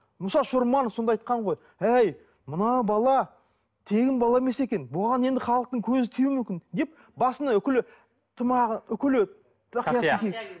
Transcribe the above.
мұса шорманов сонда айтқан ғой әй мына бала тегін бала емес екен оған енді халықтың көзі тиюі мүмкін деп басына үкілі тымағы үкілі